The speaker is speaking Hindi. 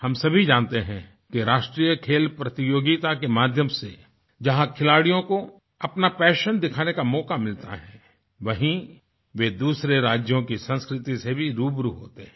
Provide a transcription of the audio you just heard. हम सभी जानतेहैं कि राष्ट्रीय खेल प्रतियोगिता के माध्यम से जहाँ खिलाड़ियों को अपना पैशन दिखाने का मौका मिलता है वहीँ वे दूसरे राज्यों की संस्कृति से भी रूबरू होते हैं